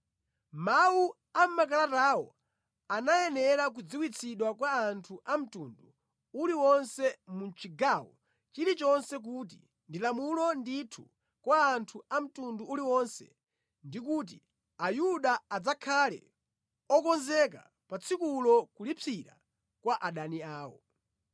Mawu a mʼmakalatawo anayenera kudziwitsidwa kwa anthu a mtundu uliwonse mu chigawo chilichonse kuti ndi lamulo ndithu kwa anthu a mtundu uliwonse ndi kuti Ayuda adzakhale okonzeka pa tsikulo kulipsira kwa adani awo.